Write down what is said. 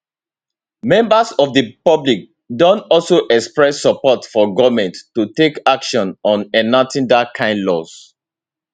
members of di public don also express support for goment to take action on enacting dat kain laws